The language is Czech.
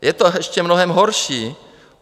Je to ještě mnohem horší.